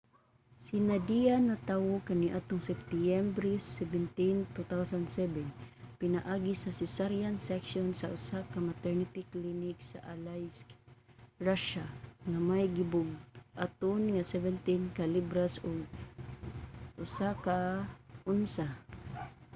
si nadia natawo kaniadtong septyembre 17 2007 pinaagi sa cesarean section sa usa ka maternity clinic sa aleisk russia nga may gibug-aton nga 17 ka libras ug 1 ka onsa